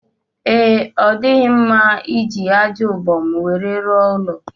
Ee, ọ dighị mma iji aja ubom nwere rụọ ụlọ